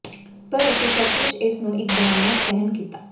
ਪਰ ਅਸੀਂ ਸੱਚਮੁੱਚ ਇਸ ਨੂੰ ਇੱਕ ਬਣਾਉਣਾ ਸਹਿਣ ਕੀਤਾ